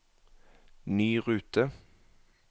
ny rute